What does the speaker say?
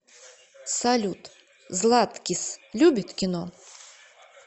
салют златкис любит кино